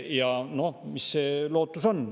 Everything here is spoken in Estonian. Ja noh, mis lootus on?